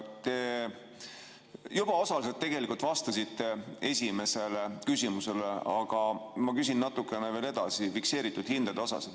Te juba osaliselt vastasite sellele, esimesele küsimusele vastates, aga ma küsin natukene edasi fikseeritud hindade kohta.